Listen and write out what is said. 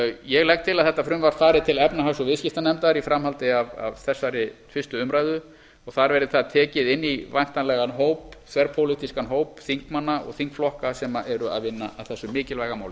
ég legg til að þetta frumvarp fari til efnahags og viðskiptanefndar í framhaldi af þessari fyrstu umræðu og þar verði það tekið inn í væntanlegan þverpólitískan hóp þingmanna og þingflokka sem eru að vinna að þessu mikilvæg máli